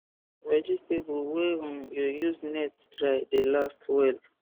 vegetable wey um you use net dry the last well